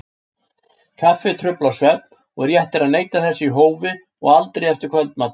Kaffi truflar svefn og rétt er að neyta þess í hófi og aldrei eftir kvöldmat.